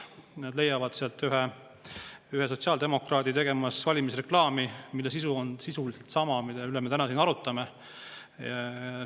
Nad leiavad sealt ühe sotsiaaldemokraadi tegemas valimisreklaami, mille sisu on sisuliselt sama, mille üle me täna siin arutame.